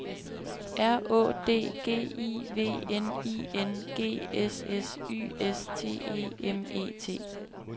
R Å D G I V N I N G S S Y S T E M E T